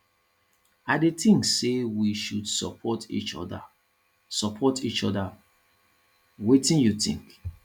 i dey think say we should support each oda support each oda wetin you think